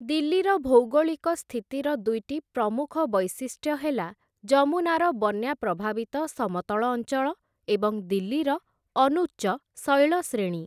ଦିଲ୍ଲୀର ଭୌଗୋଳିକ ସ୍ଥିତିର ଦୁଇଟି ପ୍ରମୁଖ ବୈଶିଷ୍ଟ୍ୟ ହେଲା, ଯମୁନାର ବନ୍ୟା ପ୍ରଭାବିତ ସମତଳ ଅଞ୍ଚଳ ଏବଂ ଦିଲ୍ଲୀର ଅନୁଚ୍ଚ ଶୈଳଶ୍ରେଣୀ ।